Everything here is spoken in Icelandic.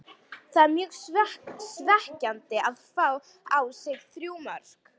Það er mjög svekkjandi að fá á sig þrjú mörk.